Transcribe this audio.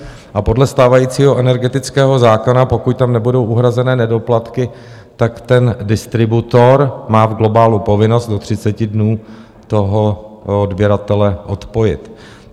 A podle stávajícího energetického zákona, pokud tam nebudou uhrazené nedoplatky, tak ten distributor má v globálu povinnost do 30 dnů toho odběratele odpojit.